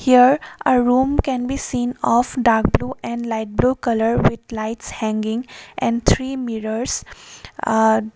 here a room can be seen of dark blue and light blue colour with lights hanging and three mirrors aa--